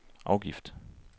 afgift